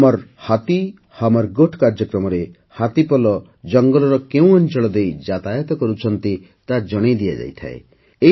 ହମର୍ ହାଥୀହମର୍ ଗୋଠ୍ କାର୍ଯ୍ୟକ୍ରମରେ ହାତୀପଲ ଜଙ୍ଗଲର କେଉଁ ଅଞ୍ଚଳ ଦେଇ ଯାତାୟାତ କରୁଛନ୍ତି ତାହା ଜଣାଇ ଦିଆଯାଏ